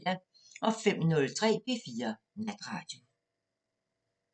05:03: P4 Natradio